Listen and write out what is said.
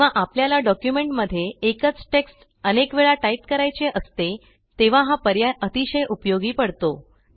जेव्हा आपल्याला डॉक्युमेंटमध्ये एकच टेक्स्ट अनेक वेळा टाईप करायचे असते तेव्हा हा पर्याय अतिशय उपयोगी पडतो